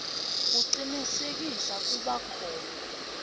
kucinisekisa kuba khona